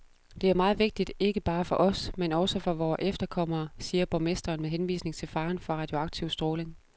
Det er meget vigtigt ikke bare for os, men også for vore efterkommere, siger borgmesteren med henvisning til faren for radioaktiv stråling.